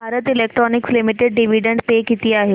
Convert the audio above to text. Bharat Electronics Limited dividend pay किती आहे